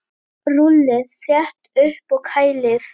Rúllið þétt upp og kælið.